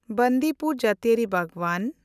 ᱵᱟᱱᱫᱤᱯᱩᱨ ᱡᱟᱹᱛᱤᱭᱟᱹᱨᱤ ᱵᱟᱜᱽᱣᱟᱱ